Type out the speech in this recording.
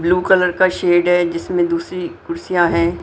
Blue colour का shade है जिसमें दूसरी खुर्सिया हैं।